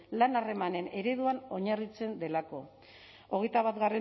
lan harremanen ereduan oinarritzen delako hogeita bat